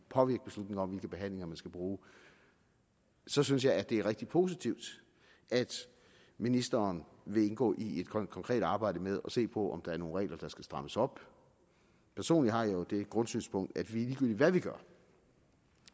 påvirke beslutninger om hvilke behandlinger man skal bruge så synes jeg det er rigtig positivt at ministeren vil indgå i et konkret arbejde med at se på om der er nogle regler der skal strammes op personlig har jeg jo det grundsynspunkt at ligegyldigt hvad vi gør